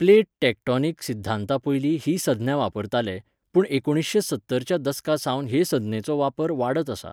Plate tectonic सिध्दांता पयलीं ही संज्ञा वापरताले, पूण एकुणशे सत्तर च्या दशकासावन हे संज्ञेचो वापर वाडत आसा.